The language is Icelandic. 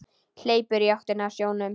Hleypur í áttina að sjónum.